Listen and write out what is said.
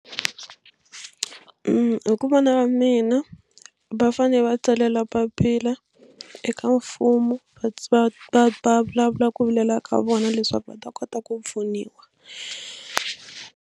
Hi ku vona ka mina va fanele va tsalela papila eka mfumo va va va va vulavula ku vilela ka vona leswaku va ta kota ku pfuniwa.